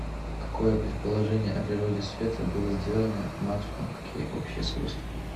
какое предположение о природе света было сделано максвеллом какие общие свойства